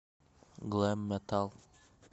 глэм метал